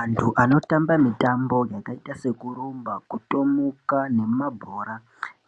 Antu ano tamba mitambo dzakaita seku rumba kutomuka ne mabhora